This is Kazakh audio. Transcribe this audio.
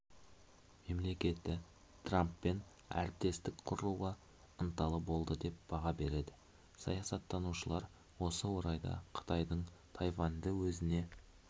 мемлекеті трамппен әріптестік құруға ынталы болды деп баға береді саясаттанушылар осы орайда қытайдың тайваньды өзіне